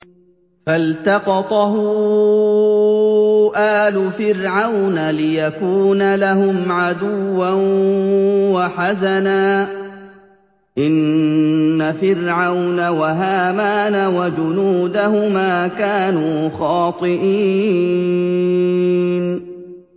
فَالْتَقَطَهُ آلُ فِرْعَوْنَ لِيَكُونَ لَهُمْ عَدُوًّا وَحَزَنًا ۗ إِنَّ فِرْعَوْنَ وَهَامَانَ وَجُنُودَهُمَا كَانُوا خَاطِئِينَ